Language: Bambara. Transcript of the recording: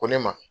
Ko ne ma